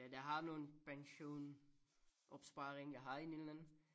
Det er der har nogen pensionsopsparing jeg har en en eller anden